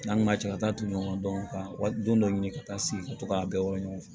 N'an ma cɛ ka taa ton ɲɔgɔn dɔn ka wa don dɔ ɲini ka taa sigi ka to k'a bɛɛ wɔlɔn